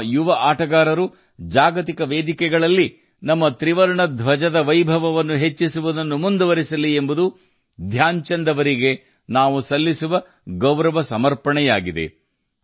ನಮ್ಮ ಯುವ ಕ್ರೀಡಾ ಪಟುಗಳು ಜಾಗತಿಕ ವೇದಿಕೆಗಳಲ್ಲಿ ನಮ್ಮ ತ್ರಿವರ್ಣ ಧ್ವಜದ ವೈಭವವನ್ನು ಹೆಚ್ಚಿಸುವುದನ್ನು ಮುಂದುವರಿಸಲಿ ಇದು ಧ್ಯಾನ್ ಚಂದ್ ಜಿ ಅವರಿಗೆ ನಮ್ಮ ಗೌರವವಾಗಿದೆ